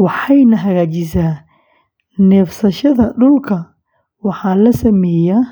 waxayna hagaajisaa neefsashada dhulka. Waxaa la sameeyaa.